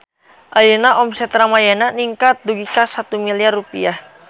Ayeuna omset Ramayana ningkat dugi ka 1 miliar rupiah